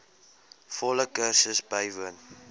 volle kursus bywoon